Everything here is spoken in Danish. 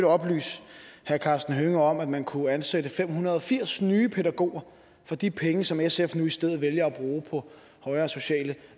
oplyse herre karsten hønge om at man kunne ansætte fem hundrede og firs nye pædagoger for de penge som sf nu i stedet vælger at bruge på højere sociale